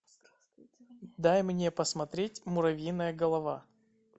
дай мне посмотреть муравьиная голова